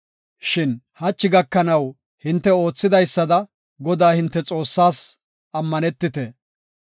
Shin hachi gakanaw hinte oothidaysada Godaa hinte Xoossaas ammanetite.